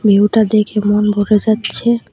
ভিউটা দেখে মন ভরে যাচ্ছে।